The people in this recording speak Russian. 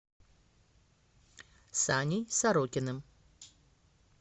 саней сорокиным